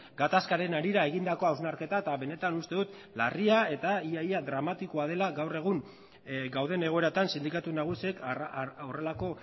gatazkaren harira egindako hausnarketa eta benetan uste dut larria eta ia ia dramatikoa dela gaur egun gauden egoeratan sindikatu nagusiek horrelako